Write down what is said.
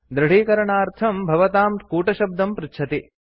दृढीकरणार्थं भवतां कूटशब्दं पृच्छति